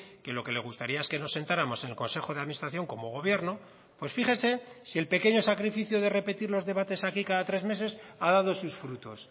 que lo que le gustaría es que nos sentáramos en el consejo de administración como gobierno pues fíjese si el pequeño sacrificio de repetir los debates aquí cada tres meses ha dado sus frutos